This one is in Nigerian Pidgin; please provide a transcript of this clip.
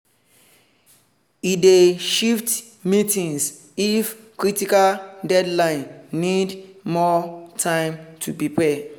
e dey shift meetings if critical deadline need more time to prepare.